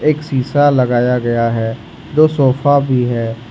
एक शिशा लगाया गया है दो सोफा भी है।